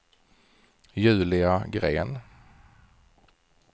Julia Green